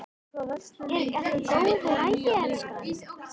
Er ekki allt í góðu lagi, elskan?